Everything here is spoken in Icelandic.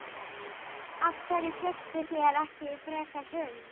Af hverju fékkstu þér ekki frekar hund?